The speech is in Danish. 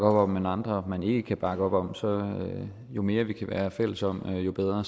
op om men andre man ikke kan bakke op om så jo mere vi kan være fælles om jo bedre